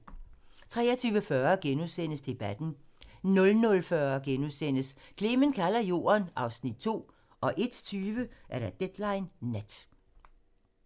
23:40: Debatten * 00:40: Clement kalder Jorden (Afs. 2)* 01:20: Deadline Nat